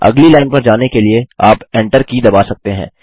अगली लाइन पर जाने के लिए आप Enter की दबा सकते हैं